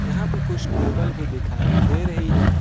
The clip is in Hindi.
यहां पे कुछ टेबल भी दिखाई दे रही है।